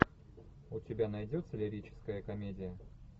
у тебя найдется лирическая комедия